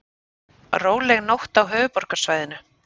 Róleg nótt á höfuðborgarsvæðinu